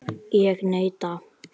Ég neita.